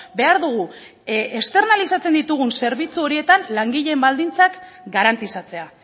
behar dugu externalizatzen ditugun zerbitzu horietan langileen baldintzak garantizatzea